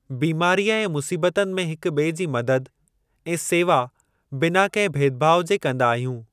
बीमारीअ ऐं मुसीबतनि में हिक बि॒ए जी मदद ऐं सेवा बिना कंहिं भेदभाव जे कंदा आहियूं।